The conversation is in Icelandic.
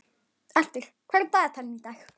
Arthur, hvað er í dagatalinu í dag?